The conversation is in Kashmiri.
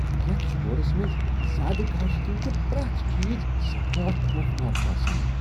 یتھ سٹورس منٛز زیادٕ گاشہِ كِنۍ چھُ پرٛیتھ چیز سیٹھاہ خوفناک باسان۔